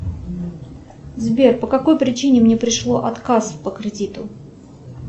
сбер по какой причине мне пришло отказ по кредиту